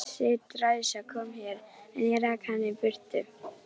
Þessi dræsa kom hér, en ég rak hana út.